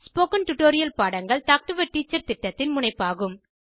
spoken tutorial பாடங்கள் talk to a teacher திட்டத்தின் முனைப்பாகும்